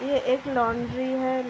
ये एक लॉन्ड्री है।